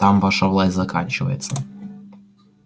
там ваша власть заканчивается